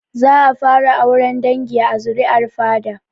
Za a fara auren dangi a zuri'ar fada